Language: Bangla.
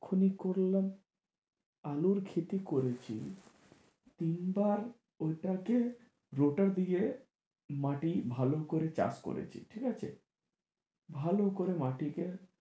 এখুনি করলাম আলুর ক্ষেতি করেছি তিন বার ওই টা কে রোটার দিয়ে মাটি ভালো করে চাষ করেছি ঠিক আছে ভালো করে মাটি কে